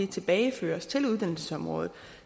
tilbageføres til uddannelsesområdet